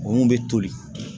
Wo bɛ toli